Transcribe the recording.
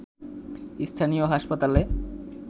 স্থানীয় হাসপাতালে